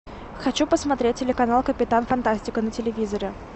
хочу посмотреть телеканал капитан фантастика на телевизоре